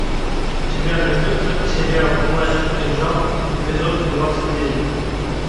у тебя найдется сериал плащ и кинжал эпизод двадцать девять